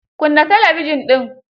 Kunna talabijin din.